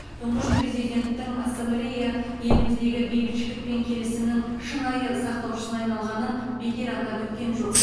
тұңғыш президенттің ассамблея еліміздегі бейбітшілік пен келісімнің шынайы сақтаушысына айналғанын бекер атап өткен жоқ